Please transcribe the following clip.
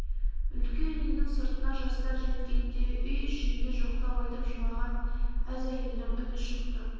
үлкен үйдің сыртына жастар жеткенде үй ішінде жоқтау айтып жылаған аз әйелдің үні шықты